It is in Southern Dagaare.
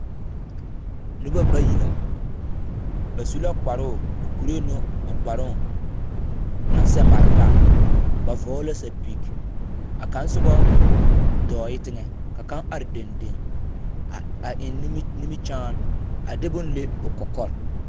Noba bayi la. Ba su la kparoo o kuree ne o kparoo naŋ sɛ mare taa. Ba vɔgle la sapig. A kaŋ sobɔ dɔɔɛ teŋɛ ka kaŋ are dendeŋ a a eŋ nimi nimikyaan a de bone le o kɔkɔre.